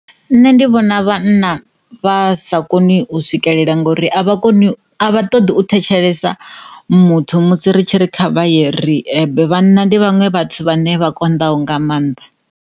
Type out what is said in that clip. Nṋe ndi vhona vhanna vha sa koni u swikelela ngori a vha koni a vha ṱoḓi u thetshelesa muthu musi ri tshi ri kha vha ye riebe vhanna ndi vhaṅwe vhathu vhane vha konḓaho nga mannḓa.